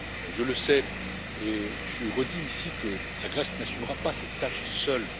Je le sais et je redis ici que la Grèce n'assumera pas cette tâche seule.